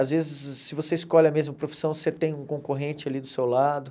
Às vezes, se você escolhe a mesma profissão, você tem um concorrente ali do seu lado.